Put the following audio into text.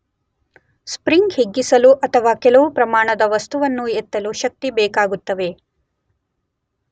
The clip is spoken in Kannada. ಸ್ಪ್ರಿಂಗ್ ಹಿಗ್ಗಿಸಲು ಅಥವಾ ಕೆಲವು ಪ್ರಮಾಣದ ವಸ್ತುವನ್ನು ಎತ್ತಲು ಶಕ್ತಿ ಬೇಕಾಗುತ್ತವೆ.